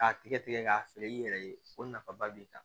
K'a tigɛ tigɛ k'a feere i yɛrɛ ye o nafaba b'i kan